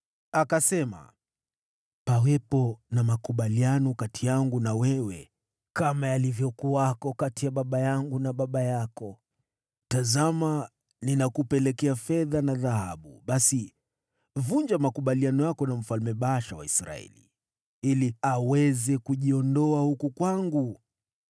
Akasema, “Pawepo na mkataba kati yangu na wewe, kama ulivyokuwepo kati ya baba yangu na baba yako. Tazama, nimekuletea fedha na dhahabu. Sasa vunja mkataba wako na Baasha mfalme wa Israeli ili aniondokee mimi.”